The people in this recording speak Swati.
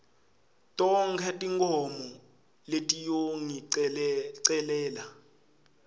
tonkhe tinkhomo letiyongicelela